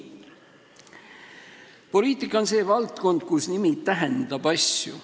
Poliitika on see valdkond, kus nimi tähendab asju.